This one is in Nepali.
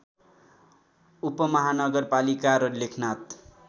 उपमहानगरपालिका र लेखनाथ